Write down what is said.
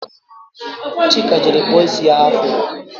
Chika jere kpụọ isi ya afuro